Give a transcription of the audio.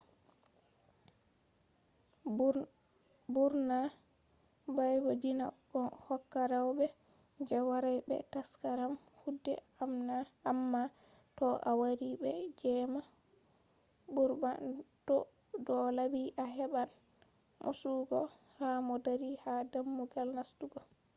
ɓurna baabe diina ɗon hokka rewɓe je waray be taskaram guude amma to a wari be jemma ɓurna to do laabi a heɓɓan mosuugo ha mo dari ha dammugal nastugo